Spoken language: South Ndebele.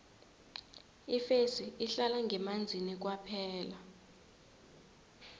ifesi ihlala ngemanzini kwaphela